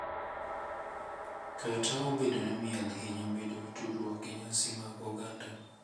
kata obedo ni miel hinyo bedo gi tudruok gi nyasi mag oganda,